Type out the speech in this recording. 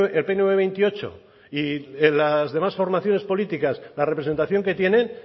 el pnv veintiocho y las demás formaciones políticas la representación que tienen